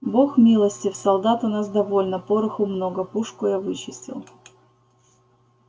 бог милостив солдат у нас довольно пороху много пушку я вычистил